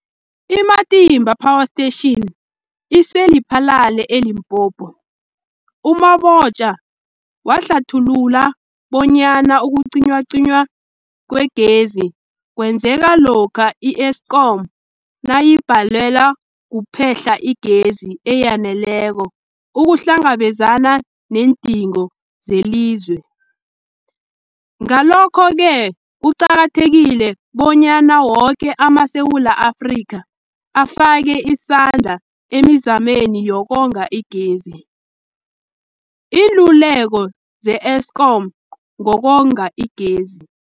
I-Matimba Power Station ise-Lephalale, eLimpopo. U-Mabotja wahlathulula bonyana ukucinywacinywa kwegezi kwenzeka lokha i-Eskom nayibhalelwa kuphe-hla igezi eyaneleko ukuhlangabezana neendingo zelizwe. Ngalokho-ke kuqakathekile bonyana woke amaSewula Afrika afake isandla emizameni yokonga igezi. Iinluleko ze-Eskom ngokonga igezi.